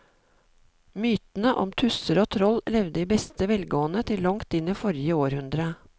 Mytene om tusser og troll levde i beste velgående til langt inn i forrige århundre.